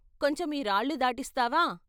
కొంచెం ఈ రాళ్ళు దాటిస్తావా?